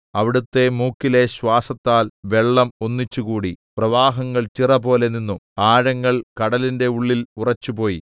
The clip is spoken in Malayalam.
അവിടുത്തെ മൂക്കിലെ ശ്വാസത്താൽ വെള്ളം ഒന്നിച്ചുകൂടി പ്രവാഹങ്ങൾ ചിറപോലെ നിന്നു ആഴങ്ങൾ കടലിന്റെ ഉള്ളിൽ ഉറച്ചുപോയി